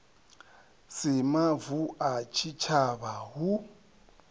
si mavu a tshitshavha hu